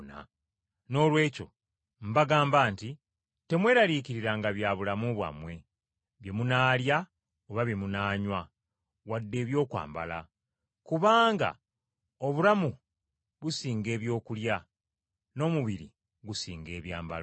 “Noolwekyo mbagamba nti, Temweraliikiriranga bya bulamu bwammwe, bye munaalya oba bye munaanywa, wadde ebyokwambala. Kubanga obulamu businga ebyokulya, n’omubiri gusinga ebyambalo.